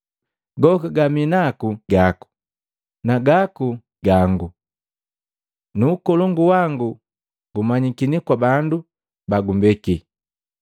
Goka gami naku gaku, na gaku gangu, na ukolongu wangu gumanyikini kwa bandu bagumbeki.